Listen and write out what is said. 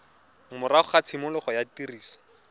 morago ga tshimologo ya tiriso